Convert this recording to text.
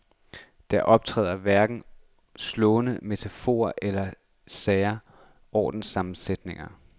Der optræder hverken slående metaforer eller sære ordsammensætninger.